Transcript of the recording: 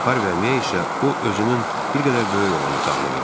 Harvy'yə isə o özünün bir qədər böyük olan otağını verər.